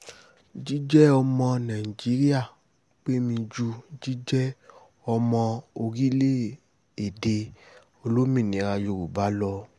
jíjẹ́ ọmọ nàìjíríà pé mi ju jíjẹ́ ọmọ orílẹ̀-èdè olómìnira yorùbá lọ